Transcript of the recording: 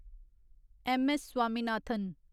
M. S. Swaminathan